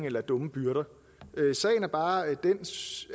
eller dumme byrder sagen er bare